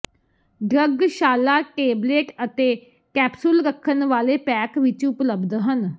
drug ਛਾਲਾ tablet ਅਤੇ capsule ਰੱਖਣ ਵਾਲੇ ਪੈਕ ਵਿਚ ਉਪਲਬਧ ਹੈ